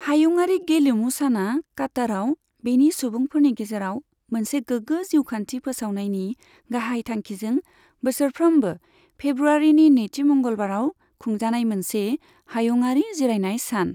हायुङारि गेलेमु साना काताराव बेनि सुबुंफोरनि गेजेराव मोनसे गोग्गो जिउखान्थि फोसावनायनि गाहाय थांखिजों बोसोरफ्रोमबो फेब्रुवारिनि नैथि मंगलबाराव खुंजानाय मोनसे हायुङारि जिरायनाय सान।